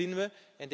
Wat zien we?